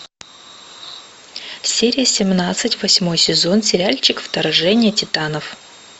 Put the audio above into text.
серия семнадцать восьмой сезон сериальчик вторжение титанов